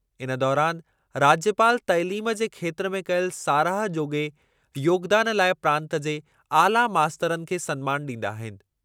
इन दौरानि राज्यपाल तइलीम जे खेत्रु में कयल साराह जोॻे योगदानु लाइ प्रांतु जे आला मास्तरनि खे सन्मानु ॾींदा आहिनि।